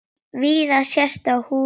Víða sést á húsum hér.